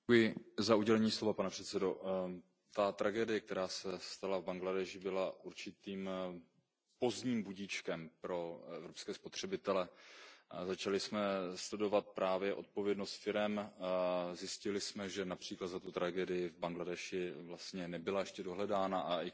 Pane předsedající, ta tragédie, která se stala v Bangladéši, byla určitým pozdním budíčkem pro evropské spotřebitele. Začali jsme studovat právě odpovědnost firem a zjistili jsme například, že za tu tragédii v Bangladéši vlastně nebyla ještě dohledána a ani konkrétní viníci